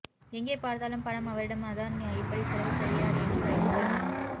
எங்கே பார்த்தாலும் பணம் அவரிடம் அதான் இப்படி செலவு செய்றார் என்று வைத்துக்கொள்ளலாம்